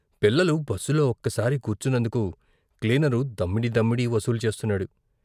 పిల్లలు బస్సులో ఒక్కసారి కూర్చున్నందుకు క్లీనరు దమ్మిడీ దమ్మిడీ వసూలు చేస్తున్నాడు.